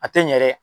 A tɛ ɲɛ dɛ